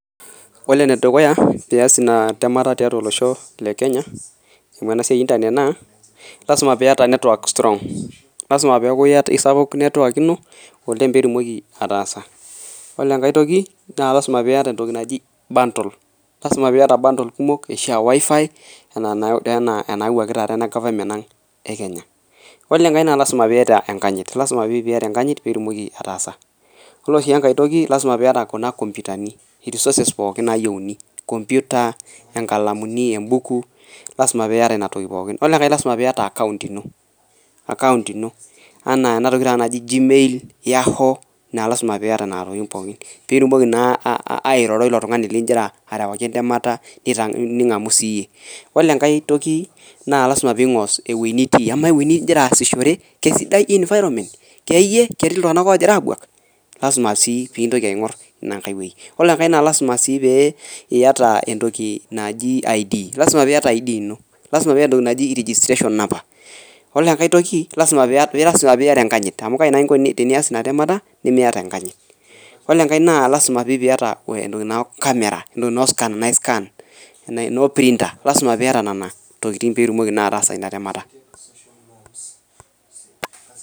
koree ene dukuya piaas ina temata tiatua olooshoo le kenya amuu enasiai eee internet naa lasimaa piaataa network strong lasimaa peeiaku kesupuk network inoo olengg pee itumokii ataasa koree enkae tokii naa lasimaa piiyata entoki naajii buntle kumokk atasho ahh wi-Fi enaa inaa nayawue tenakataa ena government aanng ee kenya koree enkae naa lazima pii yata enkanyitt piitumoki aaatasa koree sii enkae toki naa lasima pee iyata kuna kompyutni sorces pooki nayieuni kompyuta, inkalamuni ,ebuuku lasima pee iyata inatooki pooki koree enkae naa lasima pee iyata account ino enaa entoki tenakata najii g-mail. yahoo naa lasima naa pee iyata nena tokitiking pooki pee itumokii naa airoro oilo tungani likigira arewaki eee ntemata ningamuu siiiyie koree enkae okii naa lasima pee ingorr ewuei nitii ama ewuejii naa igira aassishore kesidai environment keyie ketii iltunganak ooogira abuak koree enkae naa lasimaa pee iyata i'd personal registration number koree enkae toki lasima pee iyata enkanyit koree nkae lasima sii piyaata camera entokii naaji scanner piitumoki naa ataasa ina temata.